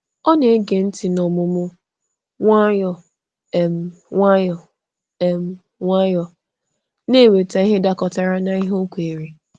Ọ na-ege ntị n’ọmụmụ nwayọ um nwayọ, um nwayọ, na-eweta ihe dakọtara na ihe o kweere.